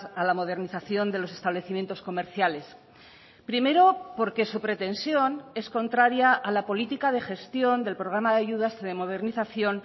a la modernización de los establecimientos comerciales primero porque su pretensión es contraria a la política de gestión del programa de ayudas de modernización